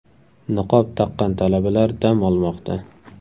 Niqob taqqan talabalar dam olmoqda.